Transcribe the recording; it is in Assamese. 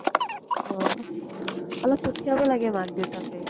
অহ। আৰু পঠিয়াব লাগে মাক দেউতাকে।